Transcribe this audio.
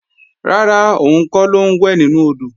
Rárá, òun kọ́ ló ń wẹ̀ nínú odò